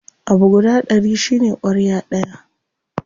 Abu guda ɗari shine ƙwarya ɗaya.